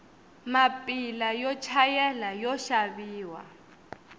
mapila yo chayela yoxaviwa